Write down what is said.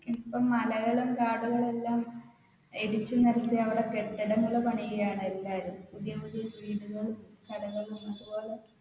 ഇപ്പ മലകളും കാടുകളും എല്ലാം ഇടിച്ചു നിരത്തി അവിടെ കെട്ടിടങ്ങൾ പണിയുകയാണ് എല്ലാവരും പുതിയ പുതിയ വീടുകളും കടകളും അതുപോലെ